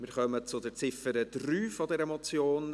Wir kommen zur Ziffer 3 dieser Motion.